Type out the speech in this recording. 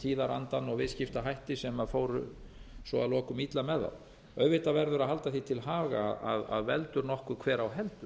tíðarandann og viðskiptahætti sem fóru svo að lokum illa með þá auðvitað verður að halda því til haga að veldur nokkur hver á heldur